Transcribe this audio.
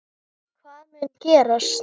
Hvað mun gerast?